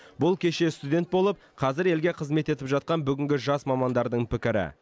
бұл кеше студент болып қазір елге қызмет етіп жатқан бүгінгі жас мамандардың пікірі